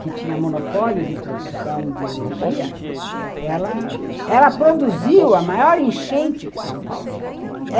que tinha monopólio de produção de energia, ela produziu a maior enchente que São Paulo já teve.